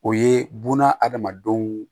O ye buna adamadenw